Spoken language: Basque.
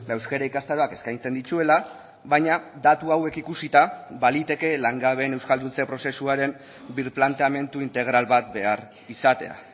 euskara ikastaroak eskaintzen dituela baina datu hauek ikusita baliteke langabeen euskalduntze prozesuaren birplanteamendu integral bat behar izatea